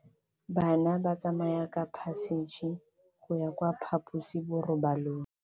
Bana ba tsamaya ka phašitshe go ya kwa phaposiborobalong.